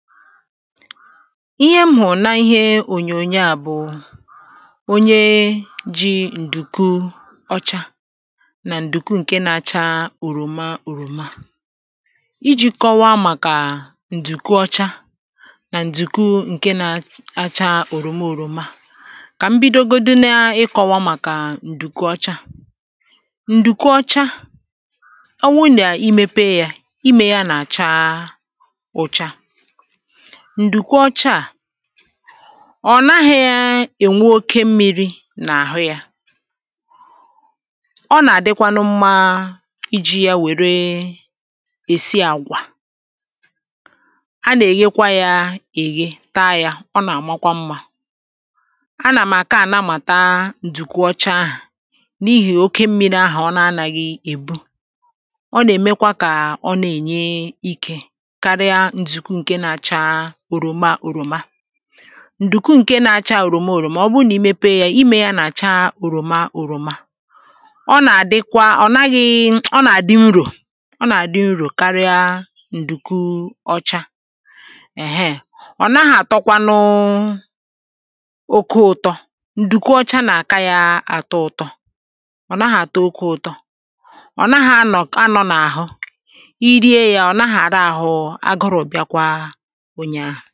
ihe m hụ̀rụ̀ n’ihe ònyònyo à bụ̀ onye ji ǹdùku ọcha na ǹdùku ǹke na-acha òròma òròma iji̇ kọwaa màkà ǹdùku ọcha nà ǹdùku ǹke na-acha òròma òròma kà mbido godine ịkọwa màkà ǹdùku ọcha ǹdùku ọcha ọ wụ nà imepe ya ime ya nà-acha ụcha ǹdùkwu ọcha à ọ naghị̇ȧ ènwe oke mmiri nà àhụ yȧ ọ nà-àdịkwanụ mmȧ iji̇ yȧ wère èsi àgwà a nà-èyekwa yȧ èghe taa yȧ ọ nà-àmakwa mmȧ a nà m̀àka a namàta ǹdùkwu ọcha ahụ̀ n’ihì oke mmiri ahù ọ na-anà gị̇ èbu ọ nà-èmekwa kà ọ nà-ènye ikė ǹdùkwu ǹke na-acha òròma òròma ọ bụrụ nà i mepe yȧ ime yȧ nà-acha òròma òròma ọ nà-àdịkwa ọ̀ naghị ọ nà-àdị nrò ọ nà-àdị nrò karịa ǹdùkwu ọcha ị̀hẹ ọ̀ naghị àtọkwanụ ụtọ nà-àtọkwanụ ụtọ ǹdùkwu ọcha nà-àta ya ụtọ ọ̀ naghị àtọ oke ụtọ ọ̀ naghị anọ̀ kà anọ̀ n’àhụ i rie yȧ ọ̀ naghị àra àhụ ǹkè ọ̀zọ à wunye ahụ̀